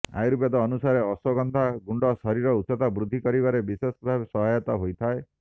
ଅୟୁର୍ବେଦ ଅନୁସାରେ ଅଶ୍ବଗନ୍ଧା ଗୁଣ୍ଡ ଶରୀର ଉଚ୍ଚତା ବୃଦ୍ଧି କରିବାରେ ବିଶେଷଭାବରେ ସହୟତା ହୋଇଥାଏ